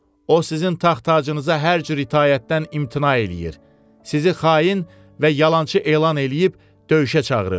O sizin taxtacınıza hər cür itaətdən imtina eləyir, sizi xain və yalançı elan eləyib döyüşə çağırır.